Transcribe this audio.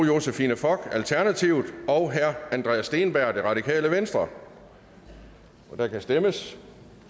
josephine fock og andreas steenberg og der kan stemmes